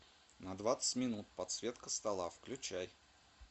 на двадцать минут подсветка стола включай